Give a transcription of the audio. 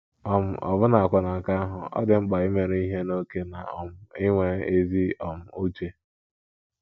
um Ọbụnakwa na nke ahụ, ọ dị mkpa imeru ihe n’ókè na um inwe ezi um uche.